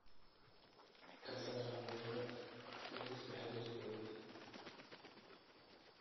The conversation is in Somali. ka saar hooyada liiska xiriirkayga